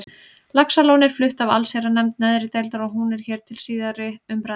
Laxalóni er flutt af allsherjarnefnd neðri deildar og hún er hér til síðari umræðu.